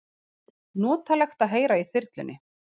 Notalegt að heyra í þyrlunni